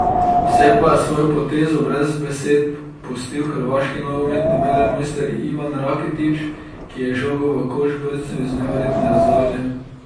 Vse pa je s svojo potezo brez besed pustil hrvaški nogometni velemojster Ivan Rakitić, ki je žogo v koš brcnil iz neverjetne razdalje.